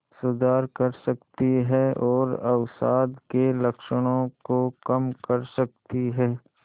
सुधार कर सकती है और अवसाद के लक्षणों को कम कर सकती है